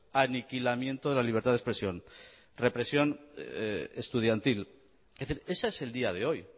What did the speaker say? aniquilamiento de la libertad de expresión represión estudiantil es decir ese es el día de hoy